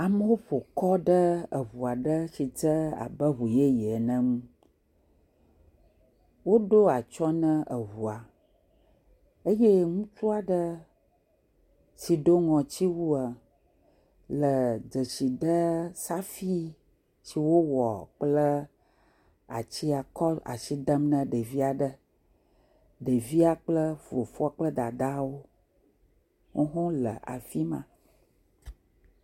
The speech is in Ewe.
Amewo ƒo kɔ ɖe ŋu aɖe yi dze abe ŋu yeye ene ŋu. Woɖo atsyɔ̃ nɛ ŋua eye ŋutsu aɖe si ɖo ŋɔtiwua, le dzesi dee safui si wowɔ kple atia kɔ le asi dem ne ɖevi aɖe. Ɖevia kple fofoa kple ɖeviawo wo hã wole afi ma.